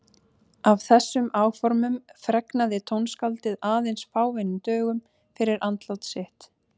Af þessum áformum fregnaði tónskáldið aðeins fáeinum dögum fyrir andlát sitt.